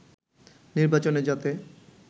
নির্বাচনে যাতে